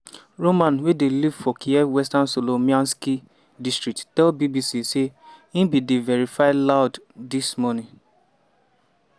roman wey dey live for kyiv western solomianskyi district tell bbc say "e bin dey veri loud dis morning".